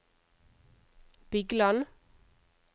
Bygland